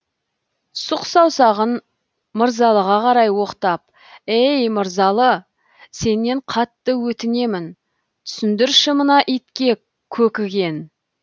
сұқ саусағын мырзалыға қарай оқтап ей мырзалы сенен қатты өтінем түсіндірші мына итке көкіген